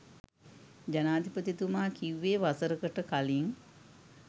ජනාධිපතිතුමා කිව්වේ වසරකට කලින්